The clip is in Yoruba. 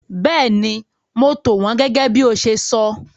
Bẹ́ẹ̀ni, mo tò wọn gẹ́gẹ́ bí o ṣe sọ.